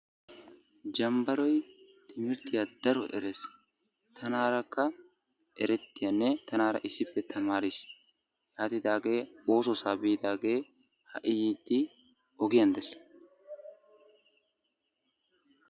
Jambbaroy timmirttiya daro erees. Tanarakka eretiyaanne tanara issippe tamaris. Yaatidaage oossossa biidagee ha''i yiiddi ogiyan dees.